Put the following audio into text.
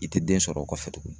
I ti den sɔr'o kɔfɛ tuguni.